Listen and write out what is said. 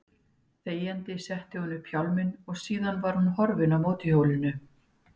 Þegjandi setti hún upp hjálminn og síðan var hún horfin á mótorhjólinu.